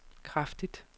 kraftigt